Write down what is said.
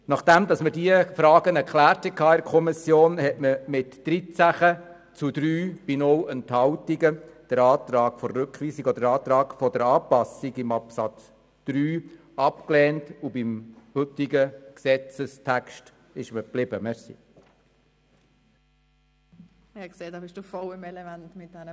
Nachdem wir in der Kommission diese Frage geklärt hatten, hat sie den Antrag auf Rückweisung oder Anpassung in Absatz 3 mit 13 zu 3 Stimmen bei 0 Enthaltungen abgelehnt und blieb beim heutigen Gesetzestext.